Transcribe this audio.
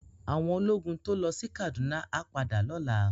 Áwòn ólógùn tó lò si Kaduna á pádà lòlá